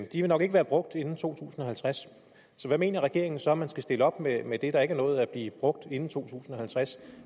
de vil nok ikke være brugt inden to tusind og halvtreds hvad mener regeringen så man skal stille op med med det der ikke er nået at blive brugt inden 2050